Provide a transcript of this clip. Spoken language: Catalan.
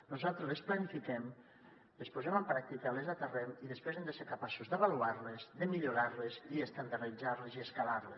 nosaltres les planifiquem les posem en pràctica les aterrem i després hem de ser capaços d’avaluar les de millorar les i estandarditzar les i escalar les